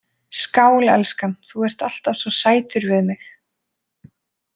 Skál, elskan, þú ert alltaf svo sætur við mig